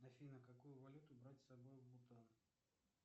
афина какую валюту брать с собой в бутан